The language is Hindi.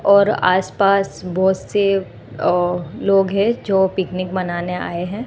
और आस पास बहोत से अ लोग हैं जो पिकनिक मानने आए हैं।